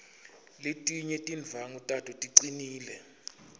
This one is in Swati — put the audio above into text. letinye tindvwangu tato ticinile